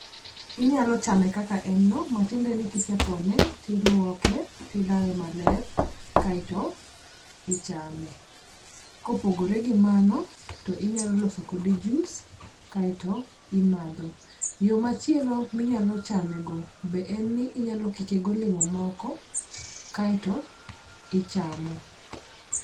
Inyalo chame kaka en no matiende ni kisepone tiluoke, tilawe maler kaeto ichame. Kopogore gi mano to inyalo loso kode jus kaeto imadho. Yoo machielo minyalo chame go be en ni inyalo kike golemo moko kaeto ichamo.